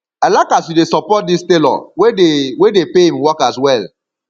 i like as you dey support dis tailor wey dey wey dey pay im workers well